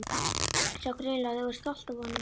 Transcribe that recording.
Sá greinilega að þau voru stolt af honum.